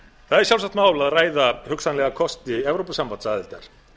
það er sjálfsagt mál að ræða hugsanlega kosti evrópusambandsaðildar